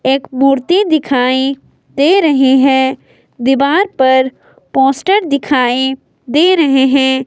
एक मूर्ति दिखाई दे रही है दीवार पर पोस्टर दिखाई दे रहे हैं।